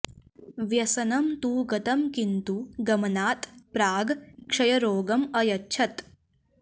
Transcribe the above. व्यसनं तु गतं किन्तु गमनात् प्राग् क्षयरोगम् अयच्छत्